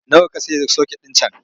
Nawa ka sayi soket ɗin can?